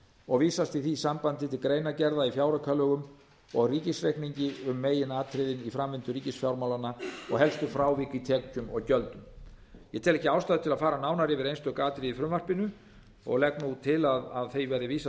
og vísast í því sambandi til greinargerða í fjáraukalögum og ríkisreikningi um meginatriði í framvindu ríkisfjármálanna og helstu frávik í tekjum og gjöldum ég tel því ekki ástæðu til að fara nánar yfir einstök atriði í frumvarpinu og legg til að því verði vísað